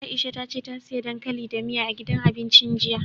Aisha ta ce ta siya dankali da miya, a gidan abincin jiya.